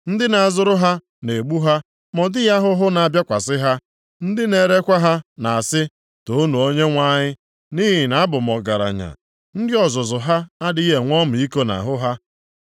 Ndị na-azụrụ ha na-egbu ha ma ọ dịghị ahụhụ na-abịakwasị ha. Ndị na-erekwa ha na-asị, ‘Toonu Onyenwe anyị, nʼihi na abụ m ọgaranya.’ Ndị ọzụzụ ha adịghị enwe ọmịiko nʼahụ ha.